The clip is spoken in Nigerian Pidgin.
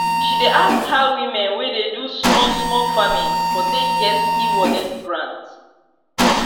she dey ask how women wey dey do small small farming for take get ewallet grant